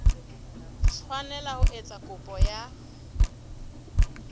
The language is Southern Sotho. tshwanela ho etsa kopo ya